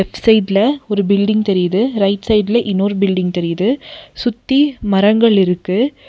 Left சைடுல ஒரு building தெரியுது ரைட் சைடுல இன்னொரு பில்டிங் தெரியுது சுத்தி மரங்கள் இருக்கு.